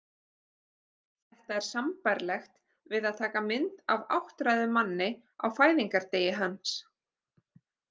Þetta er sambærilegt við það að taka mynd af áttræðum manni á fæðingardegi hans.